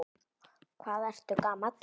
Hvað ertu gamall?